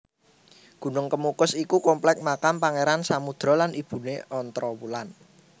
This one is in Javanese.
Gunung Kemukus iku kompleks makam Pangeran Samudro lan ibune Ontrowulan